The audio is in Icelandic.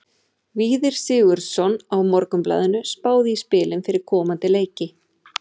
Víðir Sigurðsson á Morgunblaðinu spáði í spilin fyrir komandi leiki.